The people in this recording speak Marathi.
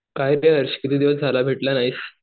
किती दिवस झालं भेटला नाहीस?